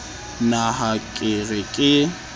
na ha ke re ke